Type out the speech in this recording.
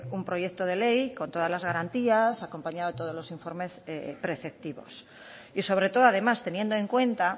un proyecto de ley con todas las garantías acompañado de todos los informes preceptivos y sobre todo además teniendo en cuenta